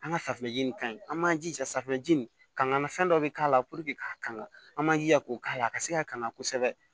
An ka safunɛji nin ka ɲi an b'an jija safunɛji nin kan ŋana fɛn dɔ be k'a la puruke ka kan an b'an jija k'o k'a la a ka se ka kanga kosɛbɛ